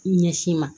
Ɲɛsin ma